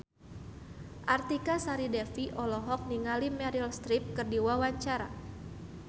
Artika Sari Devi olohok ningali Meryl Streep keur diwawancara